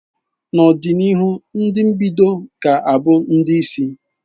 N'ọdịnihu ndị mbido ga-abụ ndị isi.